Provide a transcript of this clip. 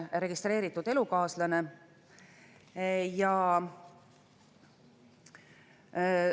On täpsustatud, et kunstlikult võib viljastada üksnes täisealist, nooremat kui 51‑aastast teovõimelist naist tema enda soovil.